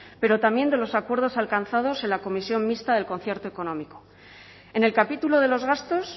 pero también de los acuerdos alcanzados en la comisión mixta del concierto económico en el capítulo de los gastos